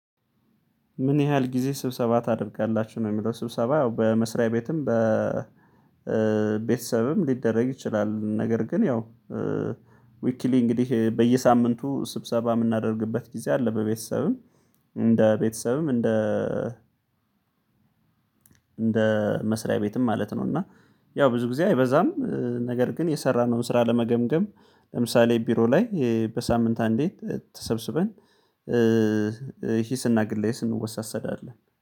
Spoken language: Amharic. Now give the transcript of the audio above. ምን ያህል ጊዜ ስብሰባ ታደርጋላችሁ ነው የሚለው ስብሰባ ያው በመስሪያ ቤትም በቤተሰብም ሊደረግ ይችላል ነገር ግን ያው ዊክሊ እንግዲህ በየሳምንቱ ስብሰባ የምናደርግበት ጊዜ አለ በቤተሰብም እንደ ቤተሰብም እንደ እንደ መስሪያ ቤትም ማለት ነው እና ያው ብዙ ጊዜ አይበዛም ነገር ግን የሰራነውን ስራ ለመገምገም ለምሳሌ ቢሮ ላይ በሳምንት አንዴ ተሰብስበን ሂስና ግለስ እንወሳሰዳለን።